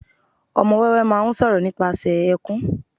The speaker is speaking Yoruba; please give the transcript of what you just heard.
ọmọ wéwé ma ń sọ̀rọ̀ nípasẹ̀ ẹkùn